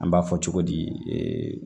An b'a fɔ cogo di